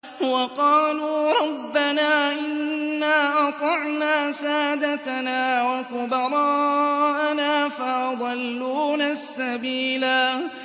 وَقَالُوا رَبَّنَا إِنَّا أَطَعْنَا سَادَتَنَا وَكُبَرَاءَنَا فَأَضَلُّونَا السَّبِيلَا